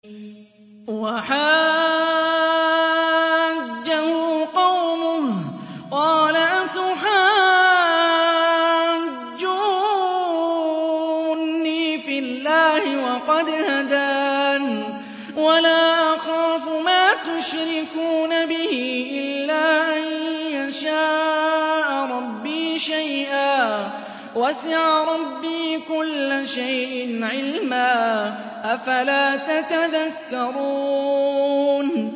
وَحَاجَّهُ قَوْمُهُ ۚ قَالَ أَتُحَاجُّونِّي فِي اللَّهِ وَقَدْ هَدَانِ ۚ وَلَا أَخَافُ مَا تُشْرِكُونَ بِهِ إِلَّا أَن يَشَاءَ رَبِّي شَيْئًا ۗ وَسِعَ رَبِّي كُلَّ شَيْءٍ عِلْمًا ۗ أَفَلَا تَتَذَكَّرُونَ